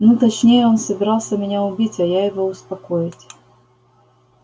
ну точнее он собирался меня убить а я его успокоить